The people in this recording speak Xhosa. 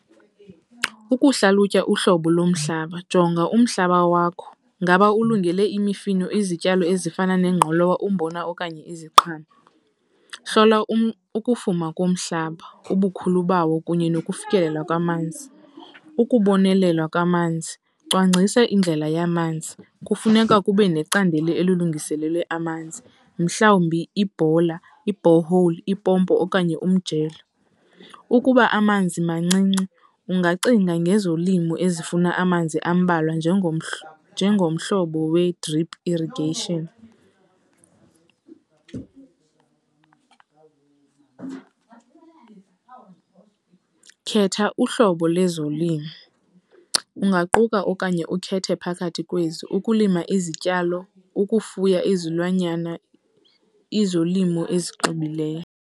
Ukuhlalutya uhlobo lomhlaba, jonga umhlaba wakho ngaba ulungele imifino, izityalo ezifana nengqolowa, umbona okanye iziqhamo. Hlola ukufuma komhlaba, ubukhulu bawo kunye nokufikelela kwamanzi. Ukubonelelwa kwamanzi, cwangcisa indlela yamanzi. Kufuneka kube necandelo elilungiselelwe amanzi mhlawumbi ibhola, i-borehole, ipompo okanye umjelo. Ukuba amanzi mancinci ungacinga ngezolimo ezifuna amanzi ambalwa, njengomhlobo we-drip irrigation. Khetha uhlobo lezolimo, ungaquka okanye ukhethe phakathi kwezi, ukulima izityalo, ukufuya izilwanyana, izolimo ezixubileyo.